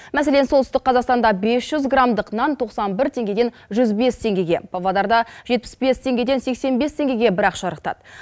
мәселен солтүстік қазақстанда бес жүз грамдық нан тоқсан бір теңгеден жүз бес теңгеге павлодарда жетпіс бес теңгеден сексен бес теңгеге бірақ шарықтады